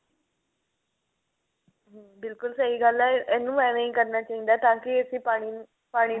hm ਬਿਲਕੁਲ ਸਹੀ ਗੱਲ ਹੈ ਇਹਨੂੰ ਐਵੇਂ ਹੀ ਕਰਨਾ ਚਾਹੀਦਾ ਤਾਂਕੀ ਅਸੀਂ ਪਾਣੀ ਪਾਣੀ